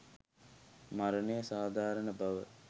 මරණය සාධාරණ බව